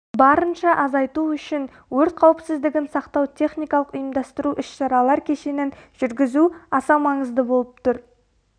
барынша азайту үшін өрт қауіпсіздігін сақтау техникалық ұйымдастыру іс-шаралар кешенін жүгізу аса маңызды болып тұр